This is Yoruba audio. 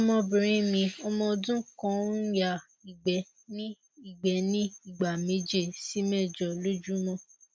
ọmọbìnrin mi ọmọ ọdún kan ń ya igbe ní igbe ní ìgbà méje sí mẹjọ lójúmọ